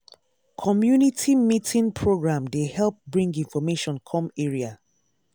community meeting program dey help bring information come area.